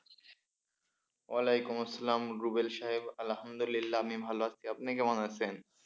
ওয়ালাইকুম আসসালাম রুবেল সাহেব আলহামদুলিল্লাহ আমি ভালো আছি আপনি কেমন আছেন?